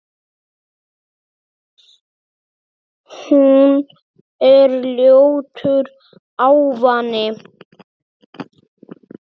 Hún er ljótur ávani.